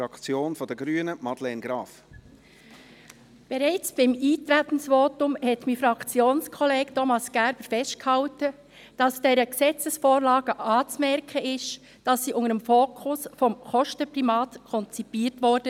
Bereits in seinem Eintretensvotum hat mein Fraktionskollege, Thomas Gerber, festgehalten, dass dieser Gesetzesvorlage anzumerken sei, dass sie unter dem Fokus des Kostenprimats konzipiert wurde.